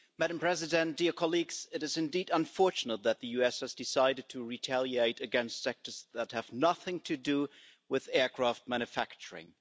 Madam President, it is indeed unfortunate that the US has decided to retaliate against sectors that have nothing to do with aircraft manufacturing.